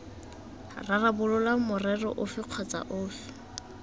rarabolola morero ofe kgotsa ofe